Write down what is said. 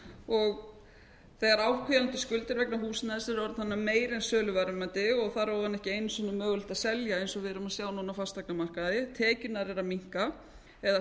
og þegar áhvílandi skuldir vegna húsnæðis eru orðnar meiri en söluverðmæti og þar á ofan ekki einu sinni mögulegt að selja eins og við erum að sjá núna á fasteignamarkaði tekjurnar eru að minnka eða